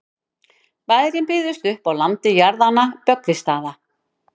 bærinn byggðist upp á landi jarðanna böggvisstaða